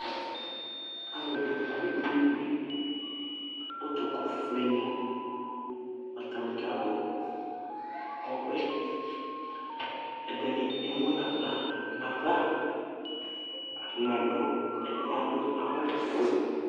Alu kɔ kpe kpe kpe Itʋku fʋe ni Atani kalu ɔbɛ Ɛdiní ɛmu nʋ aɣla nʋ ava Ɛdiní adu awu ɔfʋe